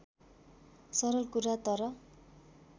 सरल कुरा तर